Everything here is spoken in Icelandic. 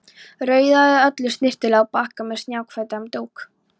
Raðaði öllu snyrtilega á bakka með snjakahvítum dúk.